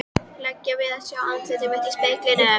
lega við að sjá andlit mitt í speglinum.